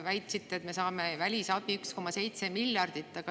Väitsite, et me saame välisabi 1,7 miljardit.